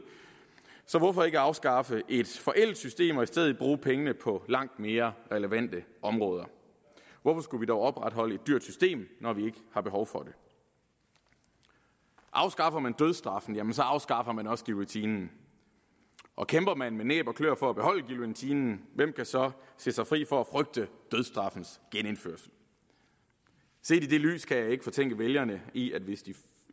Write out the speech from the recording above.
så hvorfor ikke afskaffe et forældet system og i stedet bruge pengene på langt mere relevante områder hvorfor skulle vi dog opretholde et dyrt system når vi ikke har behov for det afskaffer man dødsstraffen afskaffer man også guillotinen og kæmper man med næb og kløer for at beholde guillotinen hvem kan så sige sig fri for at frygte dødsstraffens genindførrelse set i det lys kan jeg ikke fortænke vælgerne i